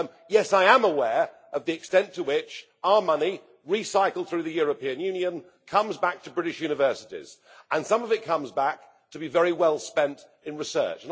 Yes, I am aware of the extent to which our money, recycled through the European Union, comes back to British universities and some of it comes back to be very well spent in research.